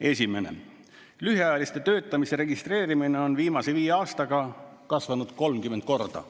Esiteks: lühiajalise töötamise registreerimine on viimase viie aastaga kasvanud 30 korda.